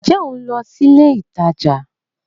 Ǹjẹ́ ohun lọ sílé ìtajà?